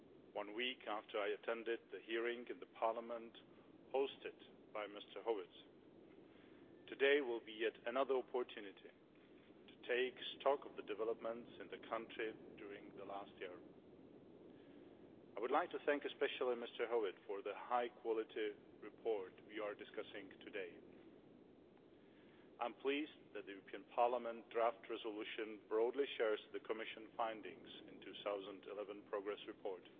one week after I attended the hearing in Parliament hosted by Mr Howitt. Today will be yet another opportunity to take stock of the developments in the country during the last year. I would like to thank especially Mr Howitt for the high quality report we are discussing today. I am pleased that the European Parliament motion for a resolution broadly shares the Commission findings in the 2011 progress report.